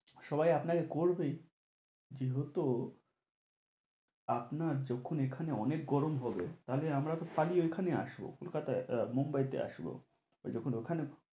সবাই আপনাকে করবে যেহেতু আপনার যখন এখানে অনেক গরম হবে, থালে আমরা তো পালিয়ে এখানে আসব। কলকাতায় আহ মুম্বাইতে আসব, আর যখন ওখানে